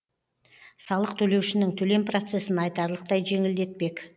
салық төлеушінің төлем процесін айтарлықтай жеңілдетпек